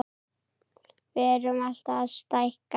Við erum alltaf að stækka.